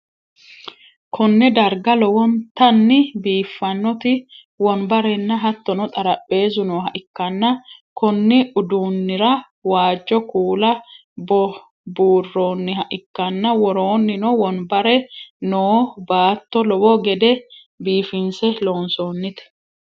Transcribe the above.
konne darga lowontanni biiffannoti wonbarenna hattono xarapheezzu nooha ikkanna, konni uduunni'ra waajjo kuula buurroonniha ikkanna, woroonnino wanbare noo baatto lowo gede biifinse loonsoonnite.